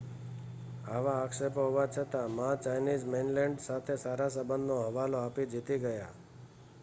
આવા આક્ષેપો હોવા છતાં મા ચાઈનીઝ મૈનલેન્ડ સાથે સારા સંબંધનો હવાલો આપી જીતી ગયા